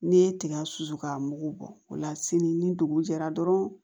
N'i ye tiga susu ka mugu bɔ o la sini ni dugu jɛra dɔrɔn